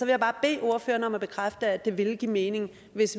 jeg bare bede ordføreren om at bekræfte at det vil give mening hvis